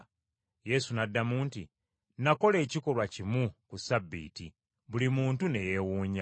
Yesu n’addamu nti, “Nakola ekikolwa kimu ku Ssabbiiti buli muntu ne yeewuunya.